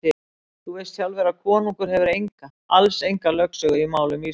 Þú veist sjálfur að konungur hefur enga, alls enga lögsögu í málum Íslands.